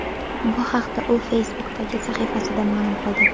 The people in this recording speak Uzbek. Bu haqda u Facebook’dagi sahifasida ma’lum qildi .